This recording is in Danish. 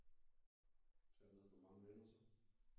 Tager du derned med mange venner så